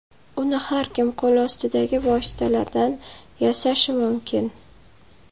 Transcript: Uni har kim qo‘lostidagi vositalardan yasashi mumkin.